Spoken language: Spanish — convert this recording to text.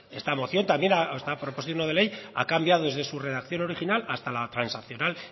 esta moción también esta proposición no de ley ha cambiado desde su redacción original hasta la transaccional